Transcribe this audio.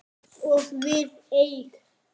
Og við eig